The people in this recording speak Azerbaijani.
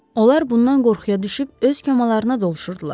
Onlar bundan qorxuya düşüb öz kamalarına doluşurdular.